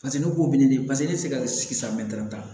Paseke ne b'o ɲini paseke ne tɛ se ka sigi sa mɛ tan